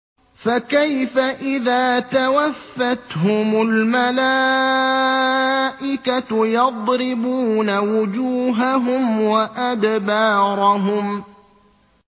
فَكَيْفَ إِذَا تَوَفَّتْهُمُ الْمَلَائِكَةُ يَضْرِبُونَ وُجُوهَهُمْ وَأَدْبَارَهُمْ